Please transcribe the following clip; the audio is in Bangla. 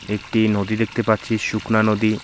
একটি নদী দেখতে পাচ্ছি শুকনা নদী।